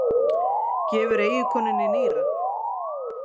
Gefur eiginkonunni nýra